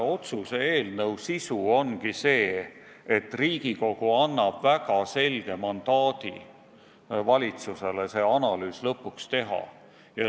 Otsuse eelnõu sisu ongi, et Riigikogu annab valitsusele väga selge mandaadi see analüüs lõpuks teha.